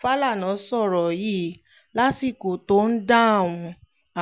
fàlànà sọ̀rọ̀ yìí lásìkò tó ń dáhùn